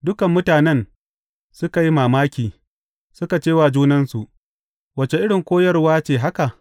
Dukan mutanen suka yi mamaki, suka ce wa junansu, Wace irin koyarwa ce haka?